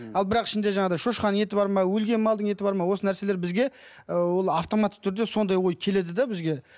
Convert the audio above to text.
ал бірақ ішінде жаңағыдай шошқаның еті бар ма өлген малдың еті бар ма осы нәрселер бізге ыыы ол автоматты түрде сондай ой келеді де бізге